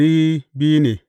Yawan mutanen sashensa ne.